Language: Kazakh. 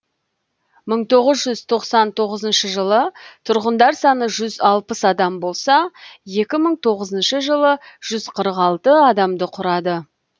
мың тоғыз жүз тоқсан жылы тұрғындар саны жүз алпыс адам болса екі мың тоғызыншы жылы жүз қырық алты адамды құрады